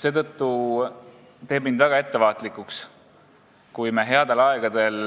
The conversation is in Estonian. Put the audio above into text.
See teeb mind väga ettevaatlikuks, kui me headel aegadel